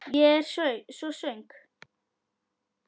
Ég er svo svöng.